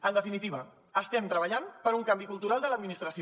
en definitiva estem treballant per un canvi cultural de l’administració